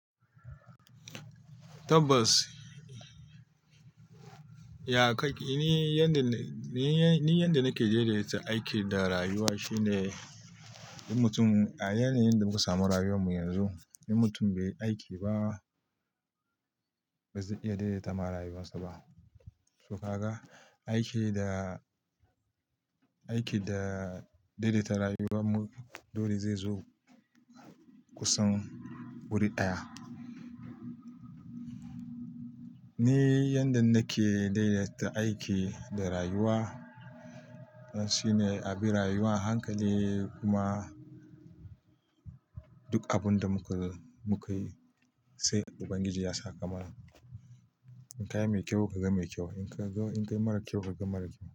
Tabbas, ya kai ni yadda-- ni yanda nake daidaita aiki da rayuwa shine yin mutum, a yanayin da muka samu rayuwar mu yanzu, yin mutum bai aiki ba ba zai iya daidaita ma rayuwarsa ba. To ka ga, aiki da, aiki da daidaita rayuwar mu dole zai zo kusan wuri ɗaya. Ni yanda nake daidaita aiki da rayuwa shine a bi rayuwa a hankali kuma duk abun da muka, muka yi sai Ubangiji ya sa kamana. In ka yi mai kyau ka ga mai kyau, in ka yi mara kyau ka ga mara kyau.